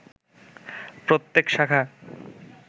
প্রত্যেক শাখা